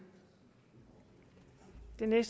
det med